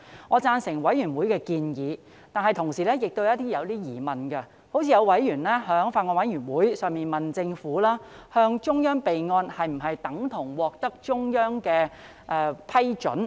我贊成法案委員會的建議，但同時亦有些疑問，例如有委員在法案委員會上問政府，向中央備案是否等同獲得中央批准？